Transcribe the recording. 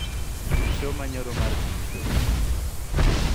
tug show manyoro mar pm show